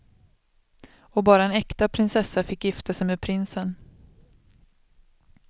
Och bara en äkta prinsessa fick gifta sig med prinsen.